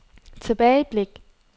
tilbageblik